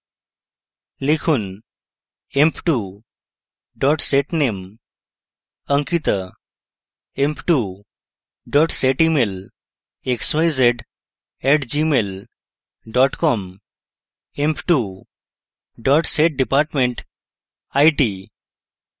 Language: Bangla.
লিখুন: